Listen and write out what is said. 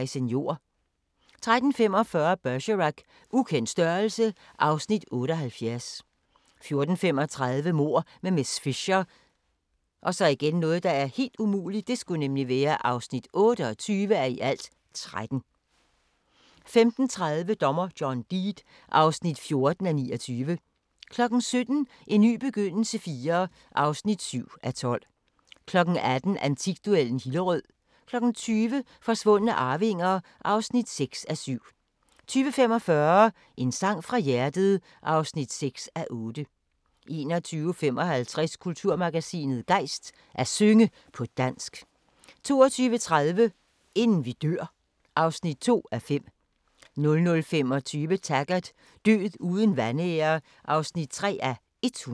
13:45: Bergerac: Ukendt størrelse (Afs. 78) 14:35: Mord med miss Fisher (28:13) 15:30: Dommer John Deed (14:29) 17:00: En ny begyndelse IV (7:12) 18:00: Antikduellen – Hillerød 20:00: Forsvundne arvinger (6:7) 20:45: En sang fra hjertet (6:8) 21:55: Kulturmagasinet Gejst: At synge på dansk 22:30: Inden vi dør (2:5) 00:25: Taggart: Død uden vanære (3:109)